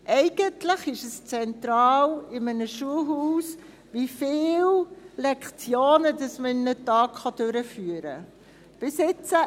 Eigentlich ist es zentral in einem Schulhaus, wie viele Lektionen man an einem Tag durchführen kann.